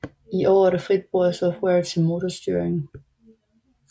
I år er der frit brug af software til motorstyring